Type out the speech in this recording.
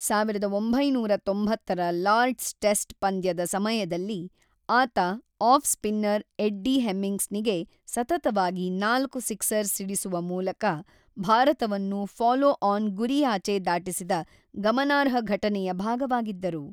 ಸಾವಿರದ ಒಂಬೈನೂರ ತೊಂಬತ್ತರ ಲಾರ್ಡ್ಸ್ ಟೆಸ್ಟ್ ಪಂದ್ಯದ ಸಮಯದಲ್ಲಿ ಆತ ಆಫ್-ಸ್ಪಿನ್ನರ್ ಎಡ್ಡಿ ಹೆಮಿಂಗ್ಸ್‌ನಿಗೆ ಸತತವಾಗಿ ನಾಲ್ಕು ಸಿಕ್ಸರ್ ಸಿಡಿಸುವ ಮೂಲಕ ಭಾರತವನ್ನು ಫಾಲೋ-ಆನ್ ಗುರಿಯಾಚೆ ದಾಟಿಸಿದ ಗಮನಾರ್ಹ ಘಟನೆಯ ಭಾಗವಾಗಿದ್ದರು.